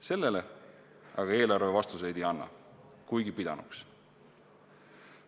Sellele aga eelarve vastuseid ei anna, kuigi pidanuks andma.